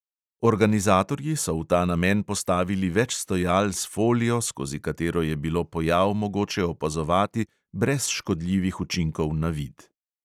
Organizatorji so v ta namen postavili več stojal s folijo, skozi katero je bilo pojav mogoče opazovati brez škodljivih učinkov na vid.